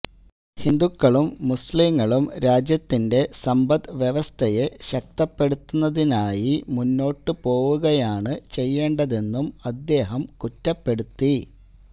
ഹിന്ദുക്കളും മുസ്ലിങ്ങളും രാജ്യത്തിന്റെ സമ്പദ് വ്യവസ്ഥയെ ശക്തപ്പെടുത്തുന്നതിനായി മുന്നോട്ടു പോവുകയാണ് ചെയ്യണ്ടതെന്നും അദ്ദേഹം കുറ്റപ്പെടുത്തി